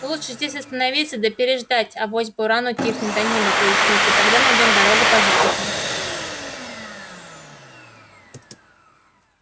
лучше здесь остановиться да переждать авось буран утихнет да небо прояснится тогда найдём дорогу по звёздам